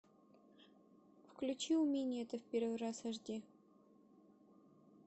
включи у меня это в первый раз аш ди